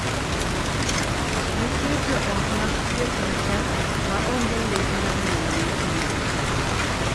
Nitie joot mag chuech machal ma onge lek mar nyuolo nyithindo.